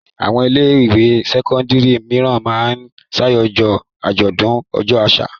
Àwọn ilé-ìwé sẹ́kọ́ndárì mìíràn máa ń ṣàjọyọ̀ àjọ̀dún ọjọ́ àṣà.